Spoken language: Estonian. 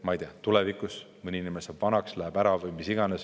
Ma ei tea, mõni inimene saab vanaks, keegi läheb ära, jääb haigeks või mis iganes.